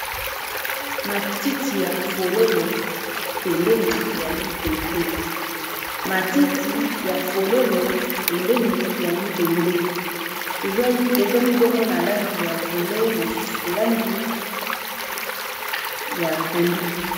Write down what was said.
Matiti ya fololo pembeni ya libende ezwami bongo na langi ya violet mosusu langi ya pondu.